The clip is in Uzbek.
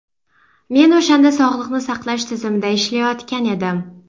Men o‘shanda sog‘liqni saqlash tizimida ishlayotgan edim.